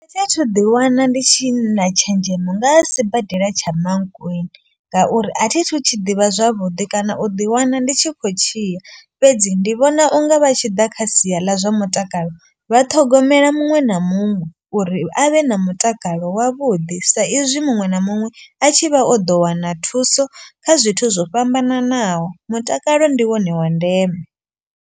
Thi thu ḓi wana ndi tshi na tshenzhemo nga sibadela tsha Mankweng. Ngauri a thithu tshi ḓivha zwavhuḓi kana u ḓi wana ndi tshi khou tshia. Fhedzi ndi vhona unga vha tshi ḓa kha sia ḽa zwa mutakalo vha ṱhogomela muṅwe na muṅwe. Uri a vhe na mutakalo wavhuḓi sa izwi muṅwe na muṅwe a tshi vha o ḓo wana thuso kha zwithu zwo fhambananaho. Mutakalo ndi wone wa ndeme.